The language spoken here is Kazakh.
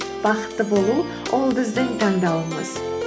бақытты болу ол біздің таңдауымыз